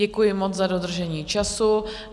Děkuji moc za dodržení času.